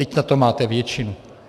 Vždyť na to máte většinu!